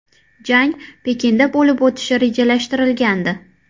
Jang Pekinda bo‘lib o‘tishi rejalashtirilgandi.